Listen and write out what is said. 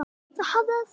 Mikka var engum lík.